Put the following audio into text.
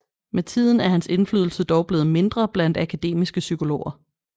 Med tiden er hans indflydelse dog blevet mindre blandt akademiske psykologer